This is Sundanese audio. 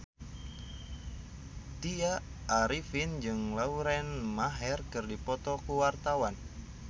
Tya Arifin jeung Lauren Maher keur dipoto ku wartawan